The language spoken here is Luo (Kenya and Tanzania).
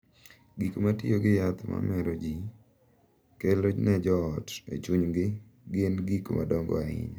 Gik ma tiyo gi yath ma mero ji kelo ne joot e chunygi gin gik madongo ahinya.